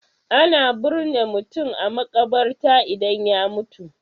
Ana birne mutum a maƙabarta idan ya mutum.